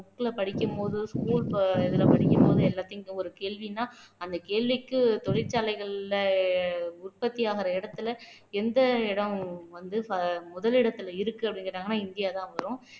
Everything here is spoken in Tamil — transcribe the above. book ல படிக்கும் போது school இதுல படிக்கும்போது எல்லாத்தையும் ஒரு கேள்வின்னா அந்த கேள்விக்கு தொழிற்சாலைகள்ல உற்பத்தியாகுற இடத்துல எந்த இடம் வந்து முதலிடத்தில இருக்கு அப்படின்னு கேட்டாங்கன்னா இந்தியாதான் வரும்